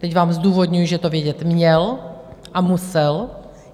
Teď vám zdůvodňuji, že to vědět měl a musel.